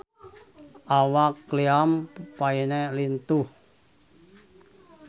Awak Liam Payne lintuh